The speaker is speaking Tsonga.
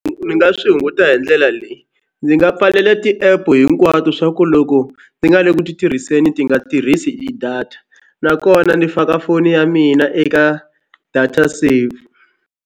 Ni nga swi hunguta hi ndlela leyi ndzi nga pfalele ti-app hinkwato swa ku loko ni nga le ku ti tirhiseni ti nga tirhisi i data nakona ni faka foni ya mina eka data save.